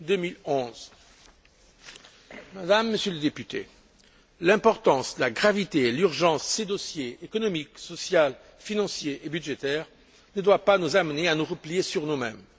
2011. Mesdames et Messieurs les députés, l'importance, la gravité et l'urgence de ces dossiers économique, social, financier et budgétaire ne doivent pas nous amener à nous replier sur nous mêmes.